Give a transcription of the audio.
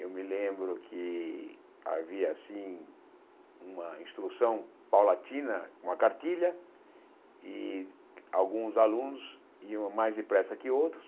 Eu me lembro que havia, assim, uma instrução paulatina, uma cartilha, e alguns alunos iam mais depressa que outros.